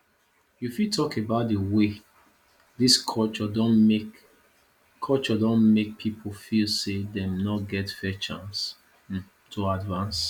you fit talk about di way dis culture don make culture don make people feel say dem no get fair chance to advance